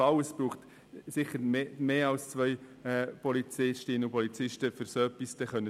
Es braucht sicher mehr als zwei Polizistinnen oder Polizisten, um so etwas durchsetzen zu können.